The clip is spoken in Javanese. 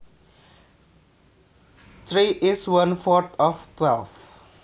Three is one fourth of twelve